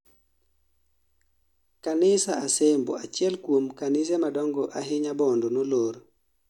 kanis asembo, achiel kuom kanise madongo ahinya bondo nolor